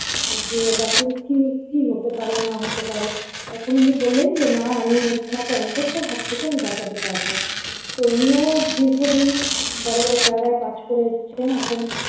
যে ডাক্তারের কি কি হতে পারে না হতে পারে তখন উনি বললেন যে না আমি ওনাকে অন্ধত্বের হাত থেকে আমি বাঁচাতে পারবো তো উনিও দীর্ঘদিন বড় বড় জায়গায় কাজ করে এসছেন এখন।